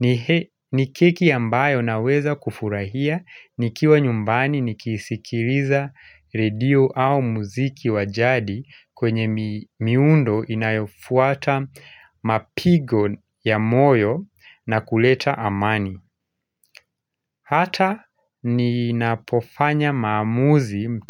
ni ni keki ambayo naweza kufurahia nikiwa nyumbani nikisikiliza radio au muziki wa jadi kwenye miundo inayofuata mapigo ya moyo na kuleta amani. Hata ninapofanya maamuzi